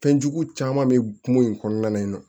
Fɛnjugu caman bɛ kungo in kɔnɔna na